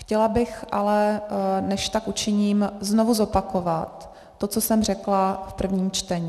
Chtěla bych ale, než tak učiním, znovu zopakovat to, co jsem řekla v prvním čtení.